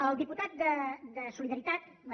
el diputat de solidaritat bé